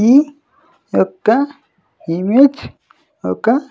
ఈ ఒక్క ఇమేజ్ ఒక--